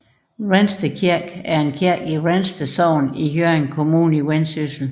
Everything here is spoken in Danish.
Vrensted Kirke er en kirke i Vrensted Sogn i Hjørring Kommune i Vendsyssel